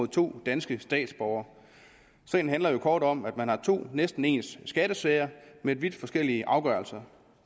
to danske statsborgere sagen handler kort om at man har to næsten ens skattesager men vidt forskellige afgørelser